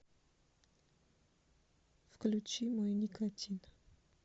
включи мой никотин